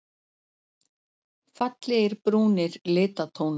Fallegir brúnir litatónar.